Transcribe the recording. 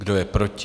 Kdo je proti?